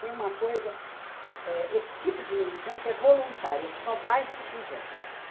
Foi uma coisa, esse tipo de militância é voluntária, só vai se quiser.